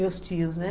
Meus tios, né?